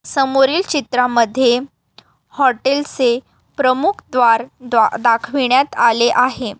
समोरील चित्रा मध्ये हॉटेल चे प्रमुख द्वार-द्वा दाखविण्यात आले आहे.